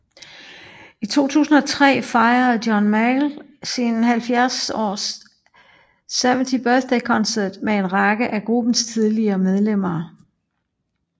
I 2003 fejrede John Mayall sin 70th Birthday Concert med en række af gruppens tidligere medlemmer